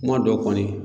Kuma dɔw kɔni